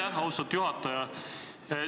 Aitäh, austatud juhataja!